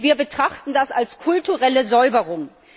Wir betrachten das als kulturelle Säuberung.